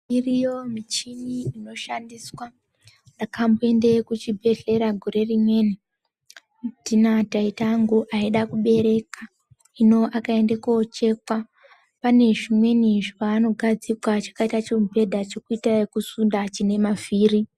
Iriyo michini inoshandiswa ndakamboende kuchibhedhlera gore rimweni tina taita angu aide kubereka hino akaende kochekwa pane zvimweni zvaanogadzikwa zvakaita chimubhedha chekuita ekusunda chine mavhiri.